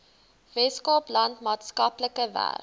weskaapland maatskaplike werk